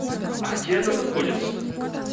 а где она находится